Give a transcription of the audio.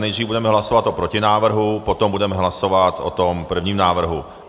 Nejdřív budeme hlasovat o protinávrhu, potom budeme hlasovat o tom prvním návrhu.